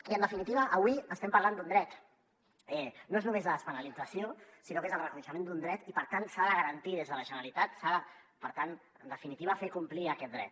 i en definitiva avui estem parlant d’un dret no és només la despenalització sinó que és el reconeixement d’un dret i per tant s’ha de garantir des de la generalitat per tant en definitiva fer complir aquest dret